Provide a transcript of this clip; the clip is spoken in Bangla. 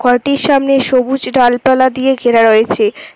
ঘরটির সামনে সবুজ ডালপালা দিয়ে ঘেরা রয়েছে।